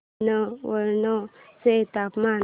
जुनवणे चे तापमान